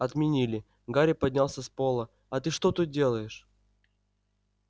отменили гарри поднялся с пола а ты что тут делаешь